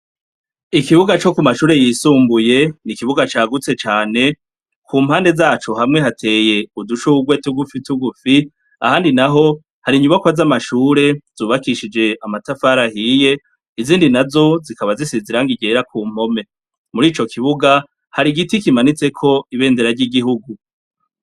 Ikibuga co ku mashure yisumbuye, ni ikibuga cagutse cane, ku mpande zaco hamwe hateye udushurwe tugufi tugufi, ahandi naho hari inyubako z'amashure zubakishije amatafari ahiye, izindi nazo zikaba zisize irangi ryera ku mpome. Muri ico kibuga hari igiti kimanitseko ibendera ry'igihugu.